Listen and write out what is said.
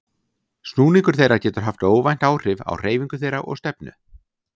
Snúningur þeirra getur haft óvænt áhrif á hreyfingu þeirra og stefnu.